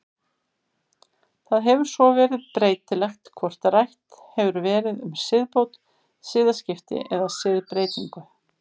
Það hefur svo verið breytilegt hvort rætt hefur verið um siðbót, siðaskipti eða siðbreytingu.